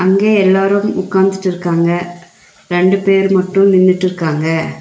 அங்கே எல்லாரும் உட்காந்துட்டுருக்காங்க ரெண்டு பேர் மட்டு நின்னுட்டுருக்காங்க.